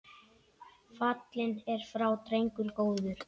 Fallinn er frá drengur góður.